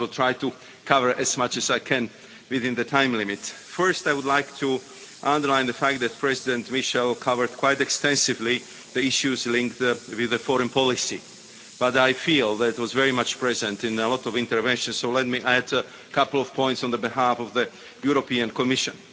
I will try to cover as much as I can within the time limit. First, I would like to underline the fact that President Michel covered quite extensively the issues linked with foreign policy, but I feel that it was very much present in a lot of interventions, so let me add a couple of points on behalf of the Commission.